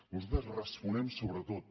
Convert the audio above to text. nosaltres responem sobre tot